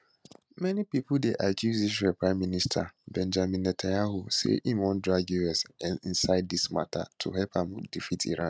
many pipo dey accuse israel prime minister benjamin netanyahu say im wan drag us inside dis mata to help am defeat iran